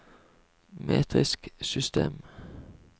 metrisk system